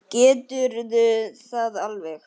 Geturðu það alveg?